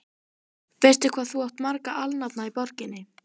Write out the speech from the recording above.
Veistu, hvað þú átt marga alnafna í borginni?